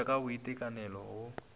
go ja ka boitekanelo go